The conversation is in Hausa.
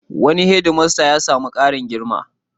Wani hedmasta ya sami ƙarin girma.